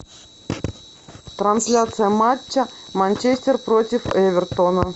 трансляция матча манчестер против эвертона